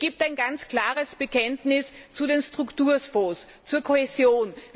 Es gibt ein ganz klares Bekenntnis zu den Strukturfonds, zur Kohäsion.